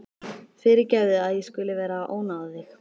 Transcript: Fyrirgefðu að ég skuli vera að ónáða þig.